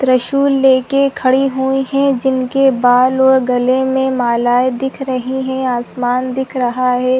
त्रिशूल लेके खड़ी हुई है जिनके बाल और गले मे मालाये दिख रही है आसमान दिख रहा है।